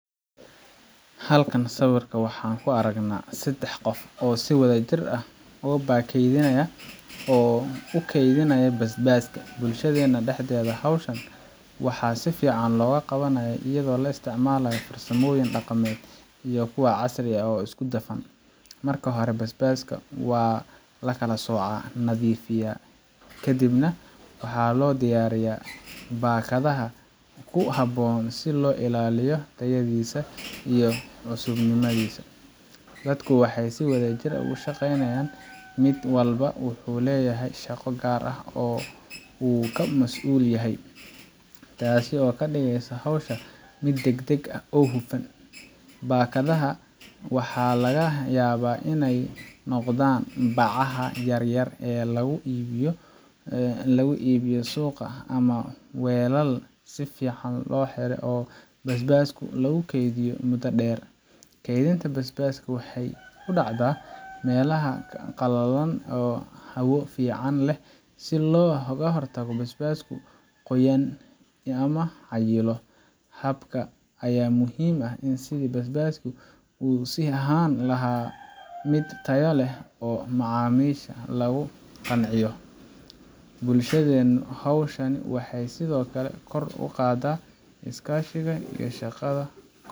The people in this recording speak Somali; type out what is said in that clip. Halkan sawirka waxaan ku aragnaa saddex qof oo si wadajir ah u baakadeeynaya oo u kaydinaya basbaaska. Bulshadeena dhexdeeda, hawshan waxaa si fiican loo qabanayaa iyadoo la isticmaalayo farsamooyin dhaqameed iyo kuwo casri ah oo isku dhafan. Marka hore, basbaaska waa la kala soocaa, nadiifiyaa, kadibna waxaa loo diyaariyaa baakadaha ku habboon si loo ilaaliyo tayadiisa iyo cusubnimadiisa. Dadku waxay si wadajir ah u shaqeeyaan, mid walbana wuxuu leeyahay shaqo gaar ah oo uu ka masuul yahay, taasoo ka dhigaysa hawsha mid degdeg ah oo hufan. Baakadaha waxaa laga yaabaa inay noqdaan bacaha yaryar ee lagu iibiyo suuqa ama weelal si fiican u xiran oo basbaaska lagu kaydiyo muddo dheer. Kaydinta basbaaska waxay ku dhacdaa meelaha qalalan oo hawo fiican leh si looga hortago in basbaasku qoyaan ama cayilo. Habkan ayaa muhiim u ah sidii basbaasku u sii ahaan lahaa mid tayo leh oo macaamiisha lagu qanciyo. Bulshadeena, hawshan waxay sidoo kale kor u qaadaa iskaashiga iyo shaqada.